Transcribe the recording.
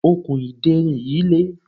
okùn ìderin yìí le